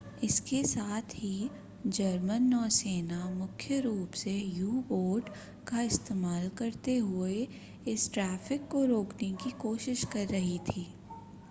इसके साथ ही जर्मन नौसेना मुख्य रूप से यू-बोट का इस्तेमाल करते हुए इस ट्रैफिक को रोकने की कोशिश कर रही थी